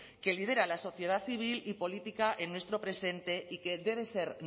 que lidera la sociedad civil y política en nuestro presente y que debe ser